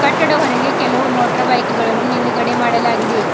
ಈಕಡೆ ಹೊರಗೆ ಕೆಲವು ಮೊಟ್ರ್ ಬೈಕ್ ಗಳನ್ನು ನಿಲುಗಡೆ ಮಾಡಲಾಗಿದೆ.